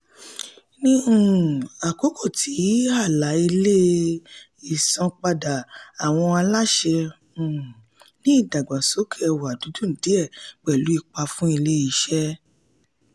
ní um àkókò tí àlà-ilẹ̀ ìsanpadà àwọn aláṣẹ um ni ìdàgbàsókè ẹ̀wádún díẹ̀ pẹ̀lú ipa fún ilé-iṣẹ́.